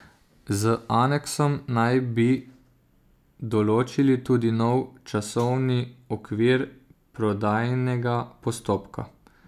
Z aneksom naj bi določili tudi nov časovni okvir prodajnega postopka.